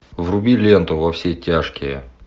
вруби ленту во все тяжкие